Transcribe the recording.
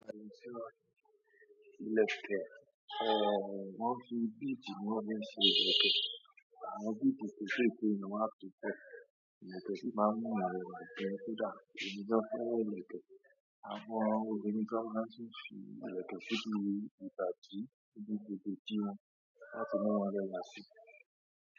Ilẹ̀kẹ̀, ẹ́, wọ́n fi bédì ni wọ́n fi ṣe ilẹ̀kẹ̀. Àwọn bẹ́ẹ̀dì kẹ̀kẹ́ yen ni wọ́n máa ń fi kọ ilẹ̀kẹ̀ sí máa ń mú eyàn rẹwà gan kódà. Emi gan fẹ́ràn ilẹ̀kẹ̀, àwọn obìnrin kan máa tun fi ilẹ̀kẹ̀ síbi ibi ìbádí ibí bebe idi wọ́n láti mú wọn rẹwà sí.